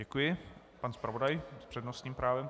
Děkuji, pan zpravodaj s přednostním právem.